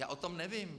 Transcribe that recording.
Já o tom nevím.